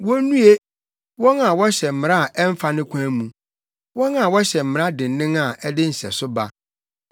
Wonnue, wɔn a wɔhyɛ mmara a ɛmfa ne kwan mu, wɔn a wɔhyɛ mmara dennen a ɛde nhyɛso ba,